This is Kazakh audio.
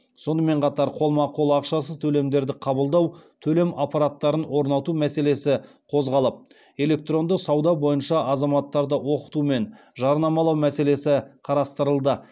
сонымен қатар қолма қол ақшасыз төлемдерді қабылдау төлем аппараттарын орнату мәселесі қозғалып электронды сауда бойынша азаматтарды оқыту мен жарнамалау мәселесі қарастырылды